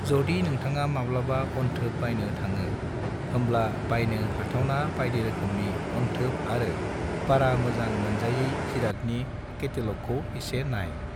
जदि नोंथाङा माब्लाबा अनथोब बायनो थाङो होमब्ला बायनो हाथावना बायदिरोखोमनि अनथोब आरो बारा मोजां मोनजायै जिरादनि कैटलॉगखौ एसे नाय।